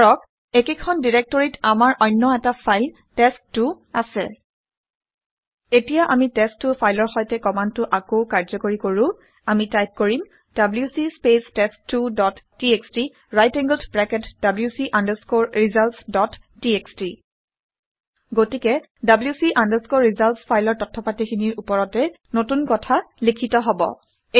ধৰক একেখন ডাইৰাক্টৰীত আমাৰ অন্য এটা ফাইল টেষ্ট ২ টেষ্ট 2 আছে। এতিয়া আমি টেষ্ট ২ টেষ্ট 2 ফাইলৰ সৈতে কামাণ্ডটো আকৌ কাৰ্ঘ্যকৰী কৰো। আমি টাইপ কৰিম - WC space test two dot TXT right angled bracket wc results dot TXT গতিকে wc results ফাইলৰ তথ্য পাতিখিনিৰ ওপৰতে নতুন কথা লিখিত হব